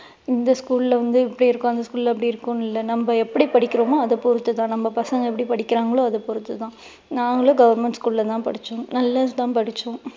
இந்த school ல வந்து இப்படி இருக்கும் அந்த school ல வந்து அப்படி இருக்கும்னு இல்ல நம்ம எப்படி படிக்கிறோமோ அதை பொறுத்து தான் நம்ம பசங்க எப்படி படிக்கிறாங்களோ அதை பொறுத்து தான். நாங்களும் government school ல தான் படிச்சோம் நல்லா தான் படிச்சோம்